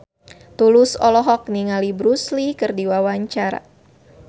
Tulus olohok ningali Bruce Lee keur diwawancara